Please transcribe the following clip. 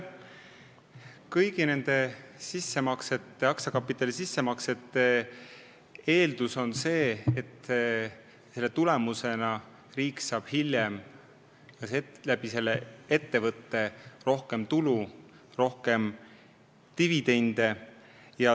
Kõigi aktsiakapitali sissemaksete eeldus on see, et selle tulemusena riik saab hiljem sellest ettevõttest rohkem tulu, rohkem dividende.